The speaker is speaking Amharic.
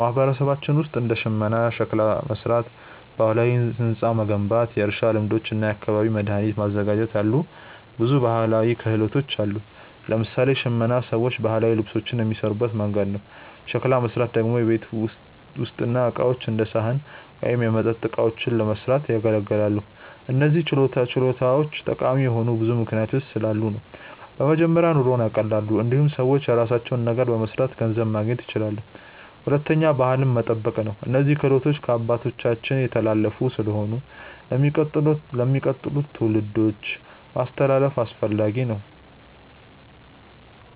አዎ፣ በማህበረሰባችን ውስጥ እንደ ሽመና፣ ሸክላ መሥራት፣ ባህላዊ ሕንፃ መገንባት፣ የእርሻ ልማዶች እና የአካባቢ መድኃኒት ማዘጋጀት ያሉ ብዙ ባህላዊ ክህሎቶች አሉ። ለምሳሌ ሽመና ሰዎች ባህላዊ ልብሶችን የሚሠሩበት መንገድ ነው። ሸክላ መሥራት ደግሞ የቤት ውስጥ ዕቃዎች እንደ ሳህን ወይም የመጠጥ እቃዎችን ለመስራት ያገለግላል። እነዚህ ችሎታዎች ጠቃሚ የሆኑት ብዙ ምክንያቶች ስላሉ ነው። በመጀመሪያ ኑሮን ያቀላሉ። እንዲሁም ሰዎች የራሳቸውን ነገር በመስራት ገንዘብ ማግኘት ይችላሉ። ሁለተኛ ባህልን መጠበቅ ነው፤ እነዚህ ክህሎቶች ከአባቶቻችን የተላለፉ ስለሆኑ ለሚቀጥሉት ትውልዶች ማስተላለፍ አስፈላጊ ነው።